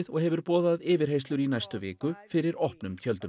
og hefur boðað yfirheyrslur í næstu viku fyrir opnum tjöldum